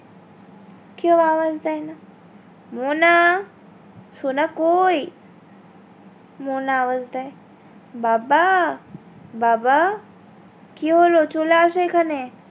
কেউ আওয়াজ দেয় না মোনা সোনা কোই মোনা আওয়াজ দেয় বাবা বাবা কি হলো চলে আসো এখানে